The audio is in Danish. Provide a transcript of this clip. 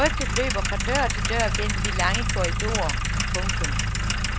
Rygtet løber fra dør til dør gennem de lange korridorer. punktum